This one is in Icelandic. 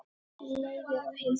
Leifur og Hildur.